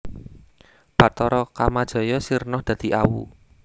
Bathara Kamajaya sirna dadi awu